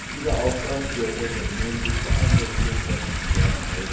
Dieser Aufwand für die europäischen Unternehmen liegt bei 124 Mrd.